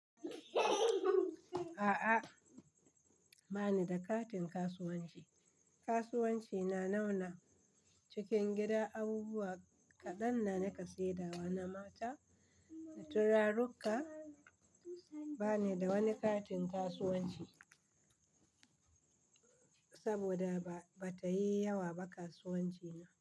A'a, ba ni da katin kasuwanci. Kasuwanci na nauna cikin gida abubuwa kaɗan na nika saida wa na mata da turarukka. Ba ni da wani katin kasuwanci saboda bata yi yawa ba kasuwanci na.